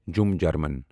جُمہٕ German